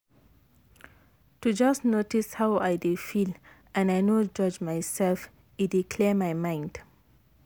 to just notice how i dey feel and i no judge myself e dey clear my mind